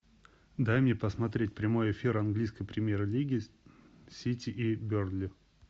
дай мне посмотреть прямой эфир английской премьер лиги сити и бернли